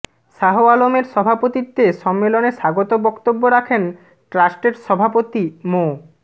শাহ আলমের সভাপতিত্বে সম্মেলনে স্বাগত বক্তব্য রাখেন ট্রাস্টের সভাপতি মো